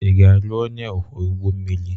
Ị ga-alụ onye ọkwọ ụgbọ mmiri?